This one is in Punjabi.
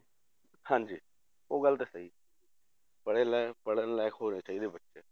ਹਾਂਜੀ ਉਹ ਗੱਲ ਤਾਂ ਸਹੀ ਹੈ ਪੜ੍ਹੇ ਲੈਣ ਪੜ੍ਹਣ ਲਾਇਕ ਹੋਣੇ ਚਾਹੀਦੇ ਹੈ ਬੱਚੇ